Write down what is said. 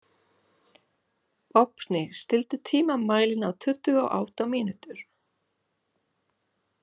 Vápni, stilltu tímamælinn á tuttugu og átta mínútur.